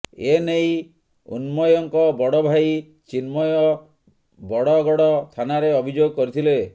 ଏ ନେଇ ଉନ୍ମୟଙ୍କ ବଡ଼ ଭାଇ ଚିନ୍ମୟ ବଡ଼ଗଡ଼ ଥାନାରେ ଅଭିଯୋଗ କରିଥିଲେ